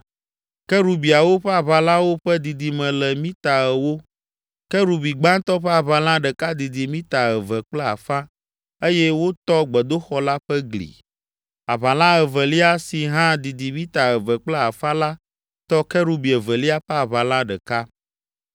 Kerubiawo ƒe aʋalawo ƒe didime le mita ewo. Kerubi gbãtɔ ƒe aʋala ɖeka didi mita eve kple afã eye wotɔ gbedoxɔ la ƒe gli. Aʋala evelia, si hã didi mita eve kple afã la tɔ kerubi evelia ƒe aʋala ɖeka.